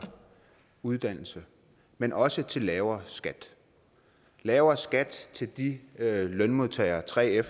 uddannelse men også til lavere skat lavere skat til de lønmodtagere 3fere